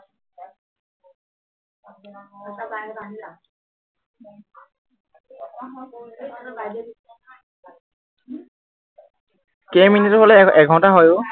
কেই মিনিট হলে এৰ এঘন্টা হয় অ